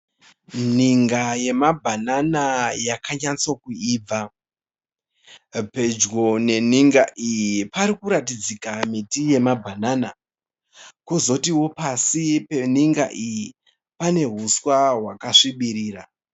ninga yemabhanana yakanyatsokuibva pedyo neninga iyi parikuratidzika miti yemabhanana kozotio pasi peninga iyi pane huswa hwakasvibirira.